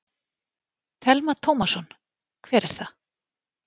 Telma Tómasson: Hver er það?